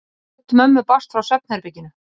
Rödd mömmu barst frá svefnherberginu.